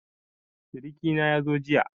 Siriki na yazo jiya.